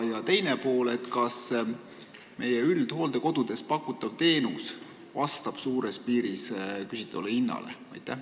Küsimuse teine pool: kas meie üldhooldekodudes pakutav teenus vastab suures piiris küsitavale hinnale?